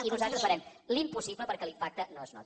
i nosaltres farem l’impossible perquè l’impacte no es noti